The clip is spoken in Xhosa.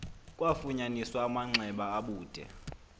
kwafunyaniswa amanxeba abude